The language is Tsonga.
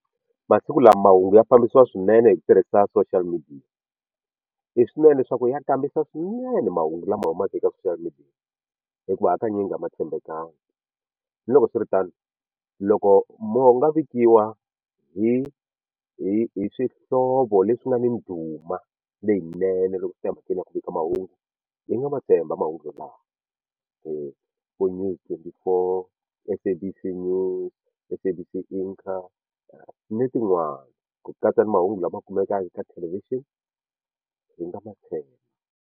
Masiku lama mahungu ya fambisiwa swinene hi ku tirhisa social media i swinene leswaku ya kambisisiwa swinene mahungu lama humaka eka social media hikuva hakanyingi a ma tshembekanga ni loko swiritano loko mo u nga vikiwa hi hi hi swihlovo leswi nga ni ndhuma leyinene loko swi ta emhakeni ya ku vika mahungu hi nga ma tshemba mahungu wolawa vo News twenty four SABC News SABC na tin'wani ku katsa mahungu lama kumekaka ka television hi nga ma tshemba.